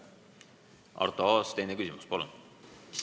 Arto Aas, teine küsimus, palun!